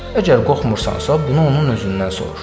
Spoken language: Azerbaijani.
Əgər qorxmursansa, bunu onun özündən soruş.